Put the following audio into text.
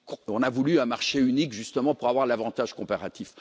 On a voulu un marché unique justement pour avoir un avantage comparatif.